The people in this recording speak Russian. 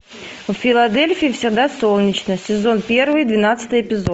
в филадельфии всегда солнечно сезон первый двенадцатый эпизод